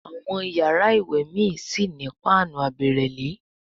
Àwọn iyàrá ìwé mí sí ní Páànù àbẹ̀rẹ̀lé.